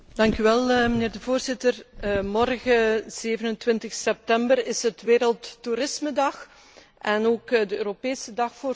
Voorzitter, morgen 27 september is het Wereldtoerismedag en ook de Europese dag voor toerisme.